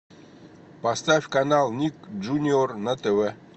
поставь канал ник джуниор на тв